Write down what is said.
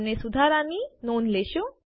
તમે સુધારાની નોંધ લેશો